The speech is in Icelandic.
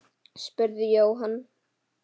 spurði Jóhann.